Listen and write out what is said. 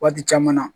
Waati caman na